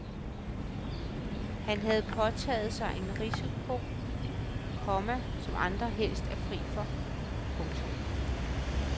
Han havde påtaget sig en risiko, komma som andre helst er fri for. punktum